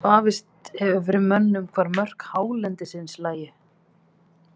Vafist hefur fyrir mönnum hvar mörk hálendisins lægju.